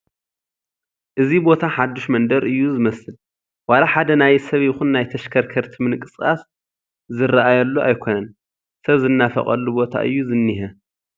እዚ ቦታ ሓዱሽ መንደር እዩ ዝመስል፡፡ ዋላ ሓደ ናይ ሰብ ይኹን ናይ ተሽከርከርቲ ምንቅስቓስ ኣይርአየሉ ኣይኮነን፡፡ ሰብ ዝናፈቐሉ ቦታ እዩ ዝኔሀ፡፡